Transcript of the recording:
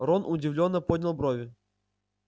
рон удивлённо поднял брови